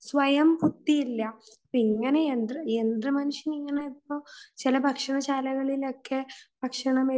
സ്വയം ബുദ്ധിയില്ല ഇപ്പോ ഇങ്ങനെ യന്ത്രമനുഷ്യൻ ഇങ്ങനെ ഇപ്പോ ഭക്ഷണം ചില ഭക്ഷണ ശാലകളിൽ ഒക്കെ ഭക്ഷണം